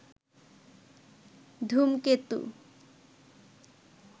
ধূমকেতু